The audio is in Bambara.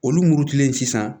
Olu murutilen sisan